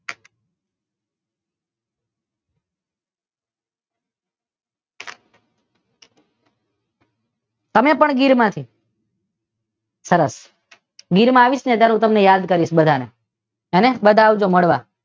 ત્રણે ત્રણ ગીર માં છે સરસ! ગીર માં આવીશ ને ત્યારે હું તમને યાદ કરીશ બધાને હો ને બધા આવજો મળવા.